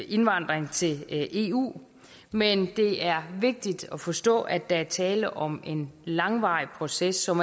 indvandring til eu men det er vigtigt at forstå at der er tale om en langvarig proces som